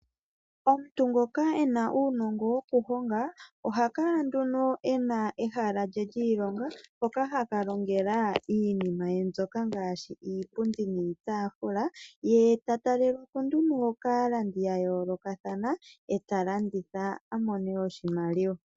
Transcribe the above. Omuntu ngoka e na uunongo wokuhonga, ohakala e na ehala lye lyiilonga mpoka haka longela iinima ye, ngaashi iipundi niitafula, ye tatalelwapo kaalandi ya yoolokathana, e talanditha opo amone oshimaliwa.